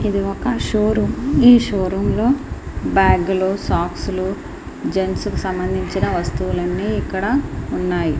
I showroom . ఈ showroom లోని బ్యాగులోని సాంగ్స్ జెంట్స్ కు సంబంధించిన వస్తువులు ఇక్కడ ఉన్నాయి.